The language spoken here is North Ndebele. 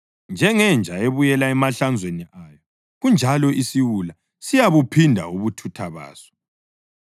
Njengenja ebuyela emahlanzweni ayo kanjalo isiwula siyabuphinda ubuthutha baso.